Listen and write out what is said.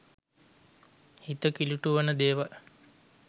හිත කිලිටු වන දේවල්